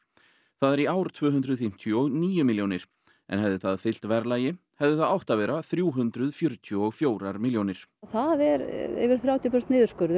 það er í ár tvö hundruð fimmtíu og níu milljónir en hefði það fylgt verðlagi hefði það átt að vera þrjú hundruð fjörutíu og fjögur milljónir það er yfir þrjátíu prósent niðurskurður